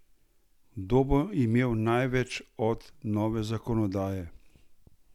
Kdo bo imel največ od nove zakonodaje?